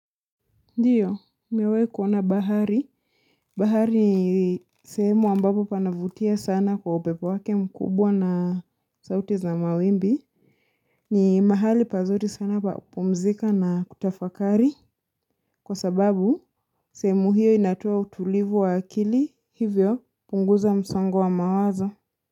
Ndiyo, nimewahi kuona bahari. Bahari ni sehemu ambapo panavutia sana kwa upepo wake mkubwa na sauti za mawimbi. Ni mahali pazuri sana pa kupumzika na kutafakari. Kwa sababu, sehemu hiyo inatoa utulivu wa akili hivyo kupunguza msongo wa mawazo.